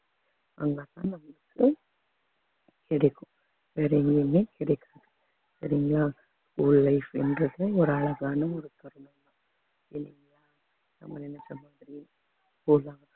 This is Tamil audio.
அதனாலதான் நமக்கு கிடைக்கும் வேற எங்கேயுமே கிடைக்காது சரிங்களா உன் life ன்றது ஒரு அழகான ஒரு தருணம்